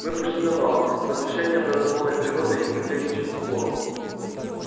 мы пошли на вал возвышение образованное природой и укрепление частоколом